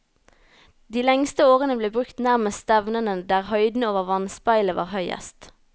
De lengste årene ble brukt nærmest stevnene der høyden over vannspeilet var høyest.